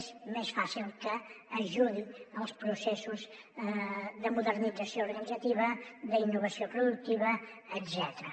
és més fàcil que ajudi en els processos de modernització organitzativa d’innovació productiva etcètera